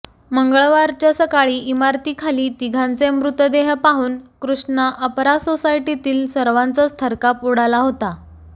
मंगळवारच्या सकाळी इमारतीखाली तिघांचे मृतदेह पाहून कृष्णा अपरा सोसायटीतील सर्वांचा थरकाप उडाला होता